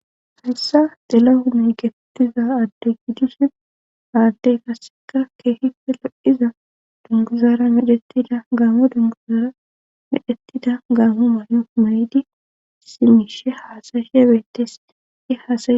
hayssa tilahune mgetetiza adde gidushin aaddey qasseka keehife lo7iza dunguzaara medhettida gaamo dunguzaara medhettida gaamo many7o may7di simishe hasa'ishe beettesi he hasa